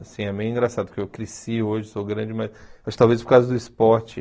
Assim, é meio engraçado, porque eu cresci hoje, sou grande, mas acho talvez por causa do esporte.